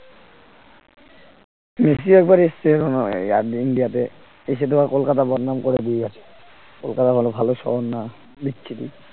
Messi একবার এসছে India তে এসে তো কলকাতার বদনাম করে দিয়ে গেছে, কলকাতা বলে ভালো শহর না বিচ্ছিরি